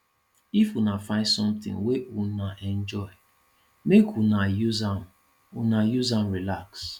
if una find sometin wey una enjoy make una use am una use am relax